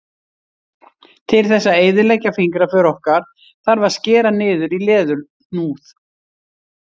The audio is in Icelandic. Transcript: Til þess að eyðileggja fingraför okkar þarf að skera niður í leðurhúð.